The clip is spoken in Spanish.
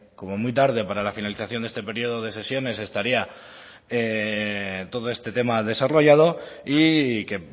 que como muy tarde para la finalización de este periodo de sesiones estaría todo este tema desarrollado y que